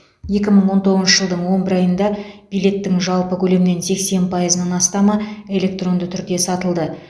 екі мың он тоғызыншы жылдың он бір айында билеттің жалпы көлемнен сексен пайызынан астамы электронды түрде сатылды